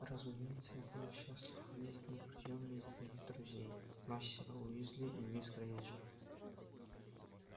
разумеется я буду счастлив видеть на приёме и твоих друзей мастера уизли и мисс грэйнджер